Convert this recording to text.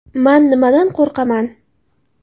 Man nimadan qo‘rqaman.